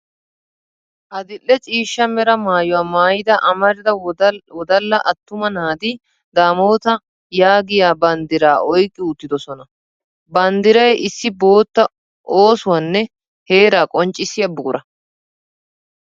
Adil'e ciishsha Mera maayuwaa maayida amarida wodalla attuma naati daamootaa yaagiya banddiraa oyqqi uttidosona. Banddiray issi bootta, oosuwanne heeraa qonccissiya buqura